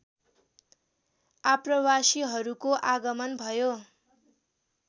आप्रवासीहरूको आगमन भयो